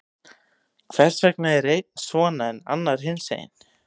Hvers vegna er einn svona, en annar hinsegin?